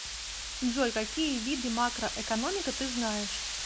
джой какие виды макроэкономика ты знаешь